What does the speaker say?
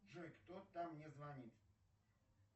джой кто там мне звонит